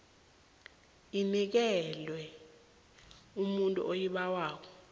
inikelwe umuntu oyibawako